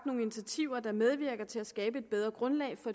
nogle initiativer der medvirker til at skabe et bedre grundlag for